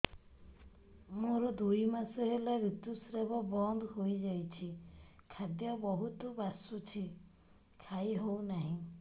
ମୋର ଦୁଇ ମାସ ହେଲା ଋତୁ ସ୍ରାବ ବନ୍ଦ ହେଇଯାଇଛି ଖାଦ୍ୟ ବହୁତ ବାସୁଛି ଖାଇ ହଉ ନାହିଁ